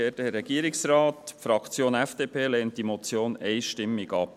Die Fraktion FDP lehnt diese Motion einstimmig ab.